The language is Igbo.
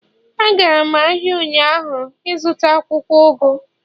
Agara m ahia ụnyaahụ ịzụta akwukwo ugu